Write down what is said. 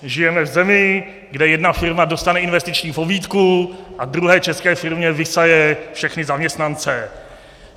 Žijeme v zemi, kde jedna firma dostane investiční pobídku a druhé české firmě vysaje všechny zaměstnance.